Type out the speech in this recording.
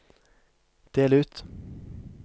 del ut